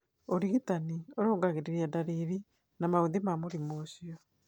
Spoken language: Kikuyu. Ũrigitani ũrũngagĩriria na ndariri na maũthĩ ma mũrimũ ũcio.